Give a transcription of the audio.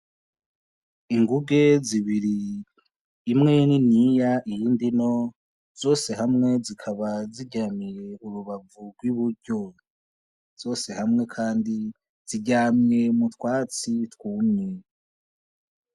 Inguge zibiri, imwe niniya iyindi nto, zose hamwe zikaba ziryamiye urubavu rw'i buryo. Zose hamwe kandi ziryamye mu twatsi twumye.